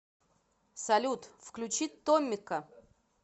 салют включи томмика